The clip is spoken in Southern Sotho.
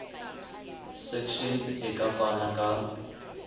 section e ka fana ka